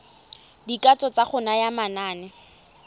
dikatso tsa go naya manane